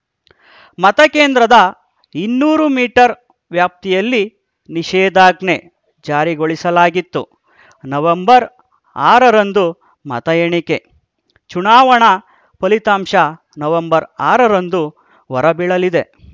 ಮತಕೇಂದ್ರದ ಇನ್ನೂರು ಮೀಟರ್‌ ವ್ಯಾಪ್ತಿಯಲ್ಲಿ ನಿಷೇಧಾಜ್ಞೆ ಜಾರಿಗೊಳಿಸಲಾತ್ತು ನವೆಂಬರ್ ಆರರಂದು ಮತ ಎಣಿಕೆ ಚುನಾವಣಾ ಫಲಿತಾಂಶ ನವೆಂಬರ್ ಆರರಂದು ಹೊರಬೀಳಲಿದೆ